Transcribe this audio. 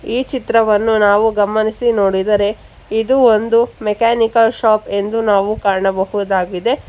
ಈ ಚಿತ್ರವನ್ನು ನಾವು ಗಮನಿಸಿ ನೋಡಿದರೆ ಇದು ಒಂದು ಮೆಕ್ಯಾನಿಕಲ್ ಶಾಪ್ ಎಂದು ನಾವು ಕಾಣಬಹುದಾಗಿದೆ.